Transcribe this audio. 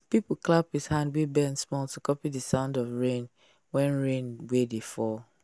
people clap with hand wey bend small to copy the sound of rain wey rain wey dey fall.